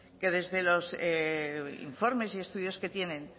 que desde los informes y estudios que tienen